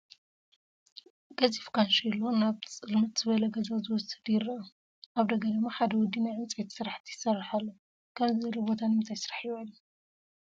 ገዚፍ ካንሼሎ ናብ ፅልምት ዝበለ ገዛ ዝወስድ ይረአ፡፡ ኣብ ደገ ድማ ሓደ ወዲ ናይ ዕንጨይቲ ስራሕቲ ይሰርሕ ኣሎ፡፡ ከምዚ ዝበለ ቦታ ንምንታይ ስራሕ ይውዕል?